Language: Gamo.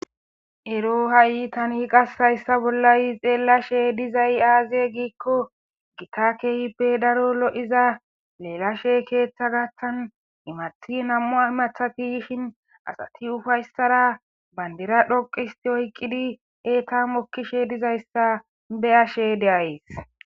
Ero hay ta hayssa bola xelashe dizay aybbe gikko kehippe daro loyzza elashe ketha gathan imathi nam'u imathati yishin asati uffaysarabandira dhoqisti oyqidi eta mokishe dizayssa beyashe deyays.